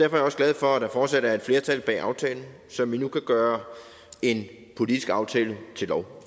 er jeg også glad for at der fortsat er et flertal bag aftalen så vi nu kan gøre en politisk aftale til lov